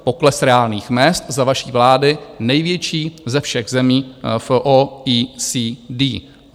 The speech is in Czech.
Pokles reálných mezd za vaší vlády - největší ze všech zemí v OECD.